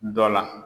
Dɔ la